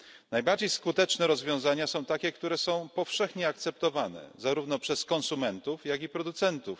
Najbardziej skuteczne rozwiązania to takie, które są powszechnie akceptowane zarówno przez konsumentów, jak i producentów.